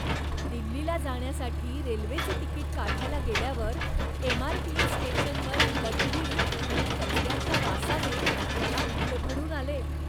दिल्लीला जाण्यासाठी रेल्वेचे तिकीट काढायला गेल्यावर एमआरटीएस स्टेशनवर लघवी आणि कचऱ्याच्या वासाने मला भडभडून आले.